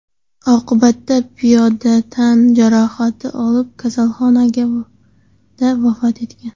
Oqibatda piyoda tan jarohati olib kasalxonada vafot etgan.